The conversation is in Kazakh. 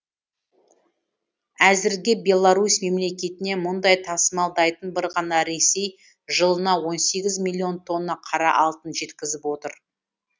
әзірге беларусь мемлекетіне мұнай тасымалдайтын бір ғана ресей жылына он сегіз миллион тонна қара алтын жеткізіп отыр